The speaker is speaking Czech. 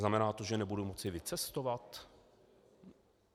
Znamená to, že nebudu moci vycestovat?